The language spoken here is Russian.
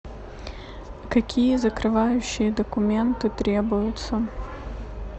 какие закрывающие документы требуются